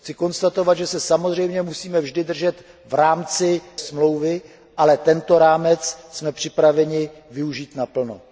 Chci konstatovat, že se samozřejmě musíme vždy držet v rámci Smlouvy, ale tento rámec jsme připraveni využít naplno.